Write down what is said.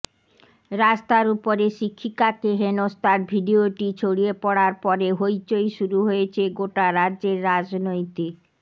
রাস্তার উপরে শিক্ষিকাকে হেনস্থার ভিডিয়োটি ছড়িয়ে পড়ার পরে হইচই শুরু হয়েছে গোটা রাজ্যের রাজনৈতিক